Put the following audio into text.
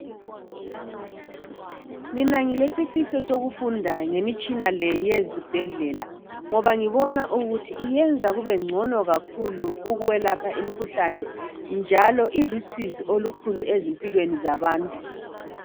Mina ngilesifiso sokufunda ngemitshina le eyezibhedlela ngoba ngibona ukuthi yenza kubengcono kakhulu ukwelapha imikhuhlane njalo ilusizi olukhulu ezimpilweni zabantu